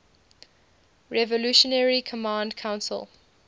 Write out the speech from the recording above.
revolutionary command council